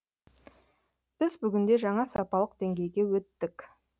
біз бүгінде жаңа сапалық деңгейге өттік